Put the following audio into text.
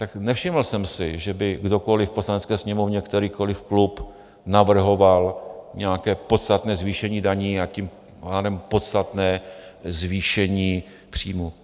Tak nevšiml jsem si, že by kdokoliv v Poslanecké sněmovně, kterýkoliv klub navrhoval nějaké podstatné zvýšení daní, a tím pádem podstatné zvýšení příjmů.